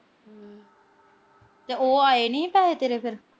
ਤੇ ਉਹ ਆਏ ਨੀ ਪੈਸੇ ਤੇਰੇ ਫਿਰ।